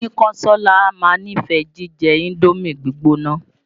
Oyínkánsọ́lá á máa nífẹ̀ẹ jíjẹ Indómì gbígbóná.